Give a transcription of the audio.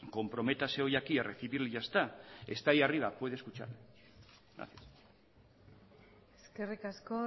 comprométase hoy aquí a recibirle y ya está está ahí arriba puede escucharle gracias eskerrik asko